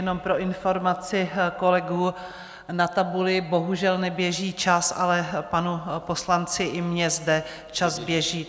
Jenom pro informaci kolegů, na tabuli bohužel neběží čas, ale panu poslanci i mně zde čas běží.